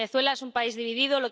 Venezuela es un país dividido.